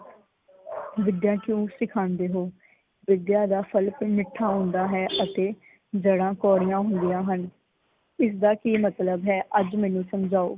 ਵਿਦਿਆ ਕਿਓ ਸਿਖਾਉਂਦੇ ਹੋ? ਵਿਦਿਆ ਦਾ ਫਲ ਮਿੱਠਾ ਹੁੰਦਾ ਹੈ ਅਤੇ ਜੜਾਂ ਕੌੜੀਆ ਹੁੰਦੀਆ ਹਨ। ਇਸ ਦਾ ਕੀ ਮਤਲਬ ਹੈ? ਅੱਜ ਮੈਨੂ ਸਮਝਾਓ।